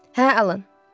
Hə, Alan.